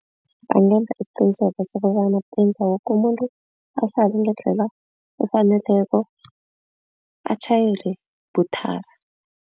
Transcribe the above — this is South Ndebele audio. Bangenza isiqiniseko sokobana benza woke umuntu ahlale ngendlela efaneleko atjhayele buthaka.